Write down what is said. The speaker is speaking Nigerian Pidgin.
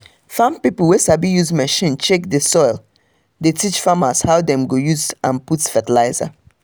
farm pipo wey sabi use machine check soil dey teach farmers how dem go use and put fertilizer.